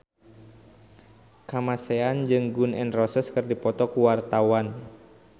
Kamasean jeung Gun N Roses keur dipoto ku wartawan